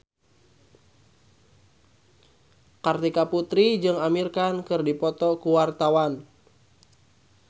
Kartika Putri jeung Amir Khan keur dipoto ku wartawan